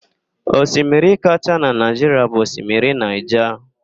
Osimiri kachaa na Naịjiria bụ Osimiri Naịja.